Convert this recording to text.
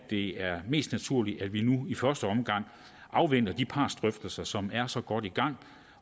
det er mest naturligt at vi nu i første omgang afventer de partsdrøftelser som er så godt i gang